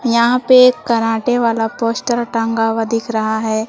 यहां पे कराटे वाला पोस्टर टांगा हुआ दिख रहा है।